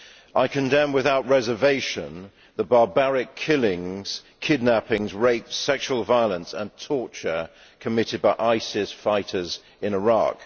I condemn without reservation the barbaric killings, kidnappings, rapes, sexual violence and torture committed by ISIS fighters in Iraq.